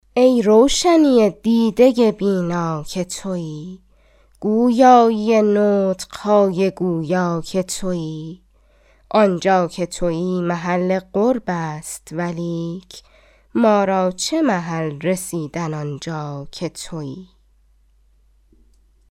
ای روشنی دیده بینا که تویی گویایی نطق های گویا که تویی آنجا که تویی محل قرب است ولیک مارا چه محل رسیدن آنجا که تویی